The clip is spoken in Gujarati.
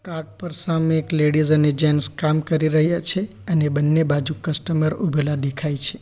કાર્ટ પર સામે એક લેડીઝ અને જેન્ટ્સ કામ કરી રહ્યા છે અને બંને બાજુ કસ્ટમર ઊભેલા દેખાય છે.